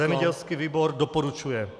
Zemědělský výbor doporučuje.